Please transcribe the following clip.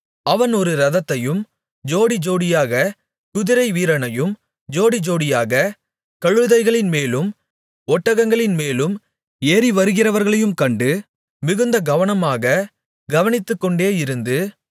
அவன் ஒரு இரதத்தையும் ஜோடி ஜோடியாகக் குதிரைவீரனையும் ஜோடி ஜோடியாகக் கழுதைகளின்மேலும் ஒட்டகங்களின்மேலும் ஏறிவருகிறவர்களையும் கண்டு மிகுந்த கவனமாகக் கவனித்துக்கொண்டே இருந்து